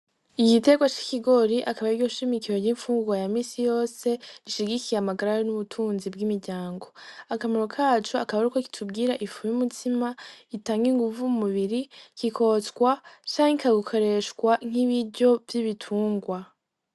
Igitegwa c'i kigori akabarigoshimikire ry'imfunguwa ya misi yose rishigikiye amagararo n'ubutunzi bw'imiryango, akamaro kacu akaba ari uko kitubwira ifume umutsima itange inguvu mu mubiri kikotswa canka gukoreshwa nk'ibiryo vy'ibitungwa.